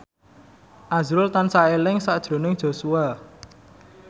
azrul tansah eling sakjroning Joshua